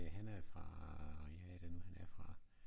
Han er fra ja hvad er det nu han er fra